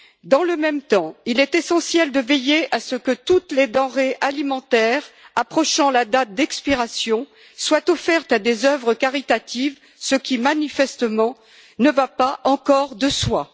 Dans le même temps, il est essentiel de veiller à ce que toutes les denrées alimentaires approchant de la date d'expiration soient offertes à des œuvres caritatives, ce qui, manifestement, ne va pas encore de soi.